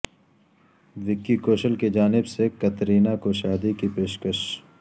وکی کوشل کی جانب سے کترینہ کوشادی کی پیشکش